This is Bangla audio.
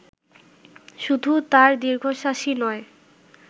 শুধু তাঁর দীর্ঘশ্বাসই নয়